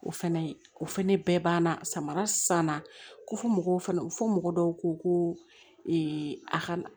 O fɛnɛ o fɛnɛ bɛɛ banna samara san na ko fɔ mɔgɔw fana fɔ mɔgɔ dɔw ko ko a ka